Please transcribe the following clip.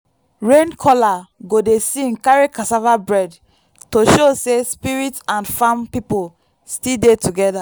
rain caller go dey sing carry cassava bread to show say spirit and farm people still dey together.